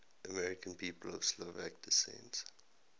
american people of slovak descent